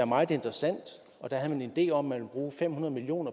meget interessant og der havde man en idé om at man ville bruge fem hundrede million